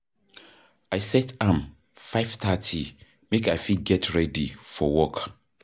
i set am 5:30 make i fit get ready for work.